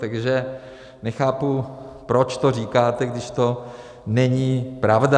Takže nechápu, proč to říkáte, když to není pravda.